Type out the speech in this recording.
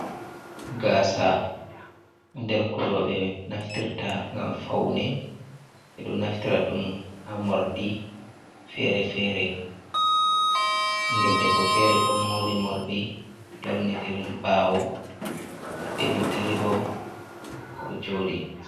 Gasa ɗo nder ko roɓe naftirta ngam faune. Ɓe ɗo naftirta ɗum ha morɗi fere-fere ɓiingel debbo fere ɗo mori morɗi lorni diri bawo benanta rivom oɗo joɗi.